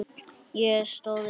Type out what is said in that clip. Ég stóð upp.